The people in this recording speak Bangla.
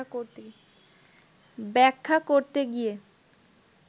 ব্যাখ্যা করতে গিয়ে